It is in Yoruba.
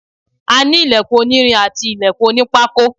a ní ìlẹ̀kùn onírin àti ìlẹ̀kùn onípákó